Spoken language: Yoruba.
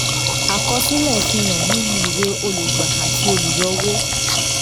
àkọsílẹ̀ fi hàn nínú ìwé olùgbà àti olùyọwó